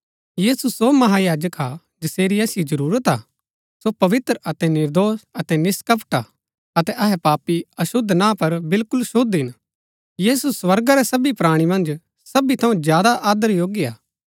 यीशु सो महायाजक हा जसेरी असिओ जरूरत हा सो पवित्र अतै निर्दोष अतै निष्‍कपट हा अतै अहै पापी अशुद्ध ना पर बिलकुल शुद्ध हिन यीशु स्वर्गा रै सबी प्राणी मन्ज सबी थऊँ ज्यादा आदर योग्य हा